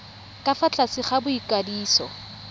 ka fa tlase ga boikwadiso